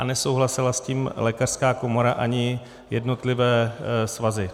A nesouhlasila s tím lékařská komora ani jednotlivé svazy.